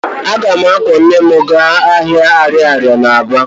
Aga m akwọ nne m gaa ahịa ariaria na Aba